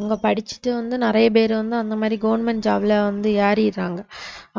இங்க படிச்சுட்டு வந்து நிறைய பேர் வந்து அந்த மாதிரி government job ல வந்து ஏறிர்றாங்க